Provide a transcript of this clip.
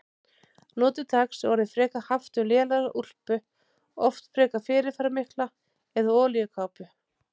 Nú til dags er orðið frekar haft um lélega úlpu, oft frekar fyrirferðarmikla, eða olíukápu.